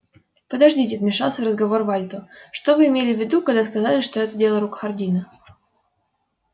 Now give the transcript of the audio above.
подождите вмешался в разговор вальто что вы имели в виду когда сказали что это дело рук хардина